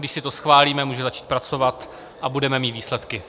Když si to schválíme, může začít pracovat a budeme mít výsledky.